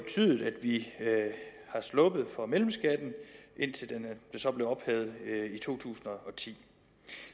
er sluppet for mellemskatten indtil det så blev ophævet i to tusind og ti